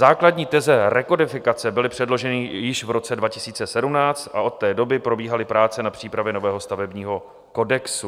Základní teze rekodifikace byly předloženy již v roce 2017 a od té doby probíhaly práce na přípravě nového stavebního kodexu.